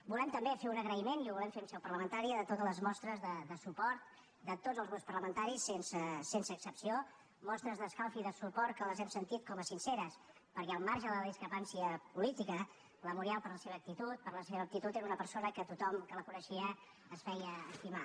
volem també fer un agraïment i ho volem fer en seu parlamentària de totes les mostres de suport de tots els grups parlamentaris sense excepció mostres d’escalf i de suport que les hem sentit com a sinceres perquè al marge de la discrepància política la muriel per la seva actitud per la seva aptitud era una persona que per tothom que la coneixia es feia estimar